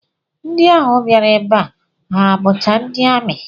Ndị ahụ bịara ebe a ha bụcha ndị amị?